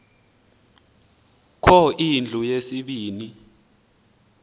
kho indlu yesibini